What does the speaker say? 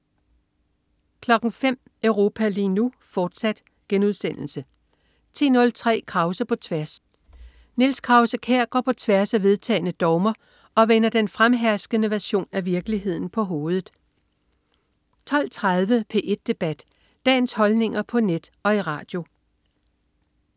05.00 Europa lige nu, fortsat* 10.03 Krause på tværs. Niels Krause-Kjær går på tværs af vedtagne dogmer og vender den fremherskende version af virkeligheden på hovedet 12.30 P1 debat. Dagens holdninger på net og i radio